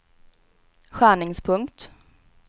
skärningspunkt